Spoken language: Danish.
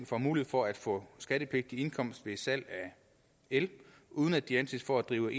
får mulighed for at få skattepligtig indkomst ved salg af el uden at de anses for at drive